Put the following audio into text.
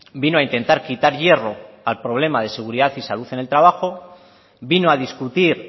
vino a intentar quitar hierro al problema de seguridad y salud en el trabajo vino a discutir